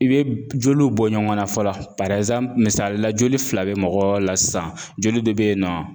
I be joliw bɔ ɲɔgɔn na fɔlɔ misalila joli fila be mɔgɔ la sisan joli dɔ be yen nɔ